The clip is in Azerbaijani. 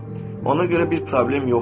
Ona görə bir problem yoxdur.